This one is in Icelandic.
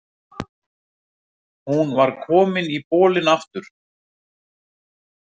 Hún var komin í bolinn aftur.